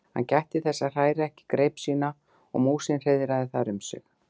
Hann gætti þess að hræra ekki greip sína og músin hreiðraði þar um sig.